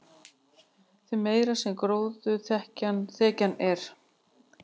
því meiri sem gróðurþekjan er